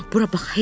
Bura bax, Hek.